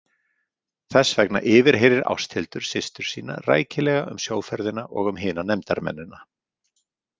Þess vegna yfirheyrir Ásthildur systur sína rækilega um sjóferðina og um hina nefndarmennina.